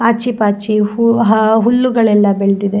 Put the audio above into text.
ಆಚಿ ಪಾಚಿ ಹೂವು ಹುಲ್ಲುಗಳು ಎಲ್ಲ ಬೆಳೆದಿದೆ --